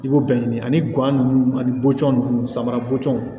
I b'o bɛɛ ɲini ani guwa nunnu ani bɔcɔ ninnu sama bɔtɔ